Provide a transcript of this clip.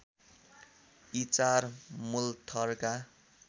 यी चार मुलथरका